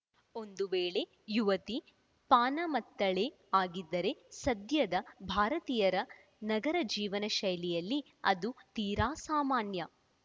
ಒಂದು ವೇಳೆ ಯುವತಿ ಪಾನಮತ್ತಳೇ ಆಗಿದ್ದರೆ ಸದ್ಯದ ಭಾರತೀಯರ ನಗರ ಜೀವನ ಶೈಲಿಯಲ್ಲಿ ಅದು ತೀರಾ ಸಾಮಾನ್ಯ